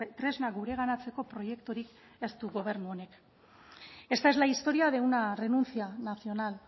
tresna gureganatzeko proiekturik ez du gobernu honek esta es la historia de una renuncia nacional